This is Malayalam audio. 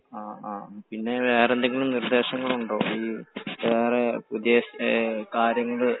ആ പിന്നെ വേറെ എന്തെങ്കിലും നിർദേശങ്ങൾ ഉണ്ടോ ഈ വേറെ പുതിയ കാര്യങ്ങൾ